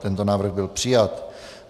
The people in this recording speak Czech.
Tento návrh byl přijat.